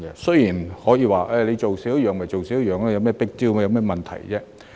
雖然有人可以說，少做一樣便少做一樣，有甚麼 big deal， 有甚麼問題呢？